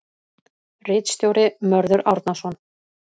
Ritstjóri Mörður Árnason.